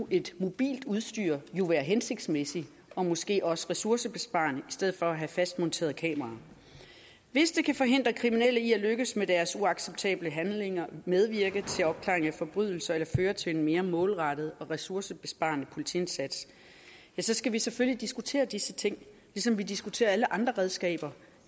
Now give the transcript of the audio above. et mobilt udstyr jo være hensigtsmæssigt og måske også være ressourcebesparende i stedet for at have fastmonterede kameraer hvis det kan forhindre kriminelle i at lykkes med deres uacceptable handlinger og medvirke til opklaring af forbrydelser eller føre til en mere målrettet og ressourcebesparende politiindsats skal vi selvfølgelig diskutere disse ting ligesom vi diskuterer alle andre redskaber